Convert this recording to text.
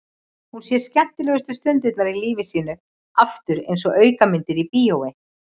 Hún sér skemmtilegustu stundirnar í lífi sínu aftur einsog aukamyndir í bíói.